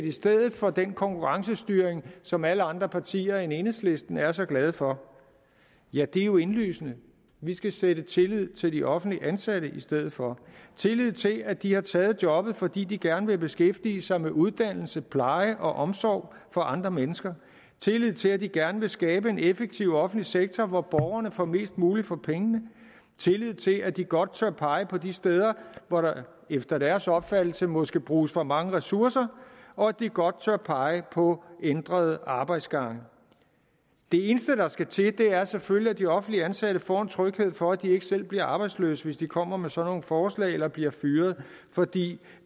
i stedet for den konkurrencestyring som alle andre partier end enhedslisten er så glade for ja det er jo indlysende vi skal sætte tillid til de offentligt ansatte i stedet for tillid til at de har taget jobbet fordi de gerne vil beskæftige sig med uddannelse pleje og omsorg for andre mennesker tillid til at de gerne vil skabe en effektiv offentlig sektor hvor borgerne får mest muligt for pengene tillid til at de godt tør pege på de steder hvor der efter deres opfattelse måske bruges for mange ressourcer og at de godt tør pege på ændrede arbejdsgange det eneste der skal til er selvfølgelig at de offentligt ansatte får en tryghed for at de ikke selv bliver arbejdsløse hvis de kommer med sådan nogle forslag eller bliver fyret fordi